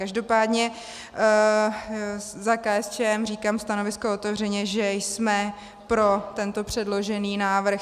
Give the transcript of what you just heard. Každopádně za KSČM říkám stanovisko otevřeně, že jsme pro tento předložený návrh.